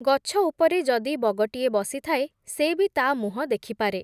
ଗଛଉପରେ ଯଦି ବଗଟିଏ ବସିଥାଏ, ସେ ବି ତା’ ମୁହଁ ଦେଖିପାରେ ।